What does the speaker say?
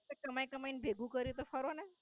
કમાય કમાય ન ભેગું કર્યું હ તો ફરો ને.